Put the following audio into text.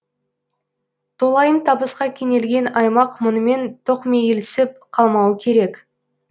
толайым табысқа кенелген аймақ мұнымен тоқмейілсіп қалмауы керек